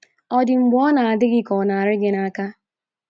Ọ̀ dị mgbe ọ na - adị gị ka ọ na - arị gị n’aka?